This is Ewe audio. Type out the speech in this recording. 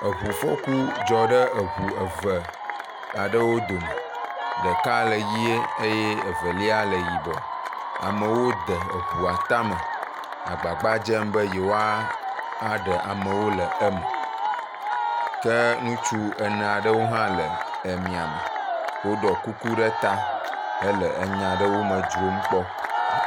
Eŋufɔku dzɔ ɖe eŋu eve aɖewo dome, ɖeka le ʋe eye ɖeka yibɔɔ, amewo de eŋua tame le gbagba dzem be yewoaɖe amewo le eme, ke ŋutsu ene aɖewo hã le emia me, woɖɔ kuku ɖe ta hele enya ɖewo me dzrom kpɔ.